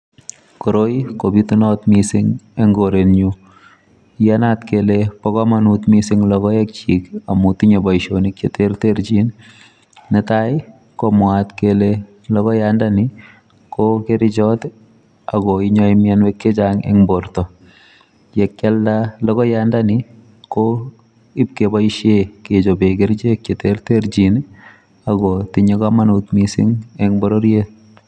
Koiroi kobitunat mising eng koretnyu iyanat kole bokomonut mising lokoekchik amu tinye boisionik cheterterchin netai komwaat kele logoyandani kokerchot akonyai mianwek chechang eng borto yekialda logoyandani ibkeboisie kechobe kerchek cheterterchin akotinye kamanut mising eng bororiet.